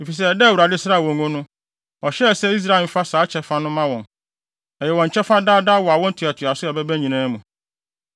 Efisɛ da a Awurade sraa wɔn ngo no, ɔhyɛɛ sɛ Israelfo mfa saa kyɛfa no mma wɔn; ɛyɛ wɔn kyɛfa daa daa wɔ awo ntoatoaso ɛbɛba nyinaa mu.